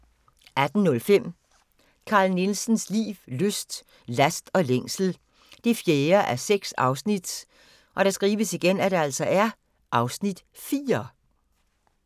18:05: Carl Nielsens liv, lyst, last og længsel 4:6 (Afs. 4)